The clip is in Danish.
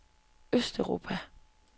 østeuropa